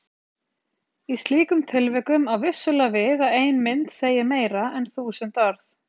Í slíkum tilvikum á vissulega við að ein mynd segi meira en þúsund orð.